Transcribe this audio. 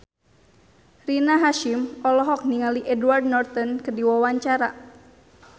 Rina Hasyim olohok ningali Edward Norton keur diwawancara